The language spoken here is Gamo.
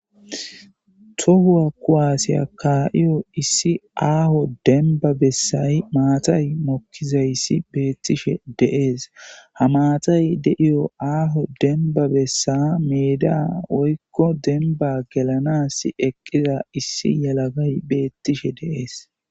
tohuwa kuwaasiya kaa7iyo issi aaho denba bessay maatay mokkizayssi beettishe deees ha maatay deiyo aaho denba bessa meida woykko denba gelanas eqqiza issi yalagay beettishe deees